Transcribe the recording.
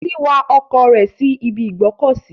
Titilayo wa ọkọ̀ rẹ̀ síbi ìgbọ́kọ̀sí.